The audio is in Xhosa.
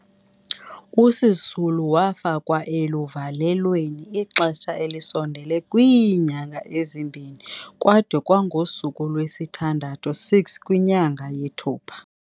USisulu wafakwa eluvalelweni ixesha elisondele kwiinyanga ezimbini kwade kwangosuku lwesithandathu, 6, kwinyanga yeThupha.